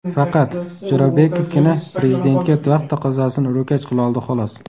Faqat... Jo‘rabekovgina Prezidentga vaqt taqozosini ro‘kach qiloldi xolos.